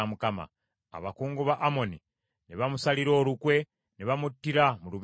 Abakungu ba Amoni ne bamusalira olukwe ne bamuttira mu lubiri lwe.